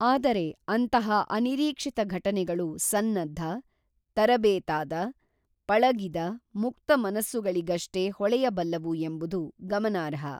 ಆದರೆ ಅಂತಹ ಅನಿರೀಕ್ಷಿತ ಘಟನೆಗಳು ಸನ್ನದ್ಧ, ತರಬೇತಾದ, ಪಳಗಿದ ಮುಕ್ತ ಮನಸ್ಸುಗಳಿಗಷ್ಟೇ ಹೊಳೆಯಬಲ್ಲವು ಎಂಬುದು ಗಮನಾರ್ಹ.